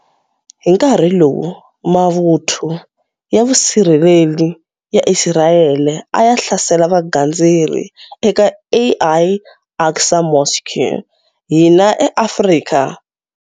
Hi nkarhi lowu mavuthu ya vusirheleri ya Isirayele a ya hlasela vagandzeri eka Al Aqsa Mosque, hina eAfrika.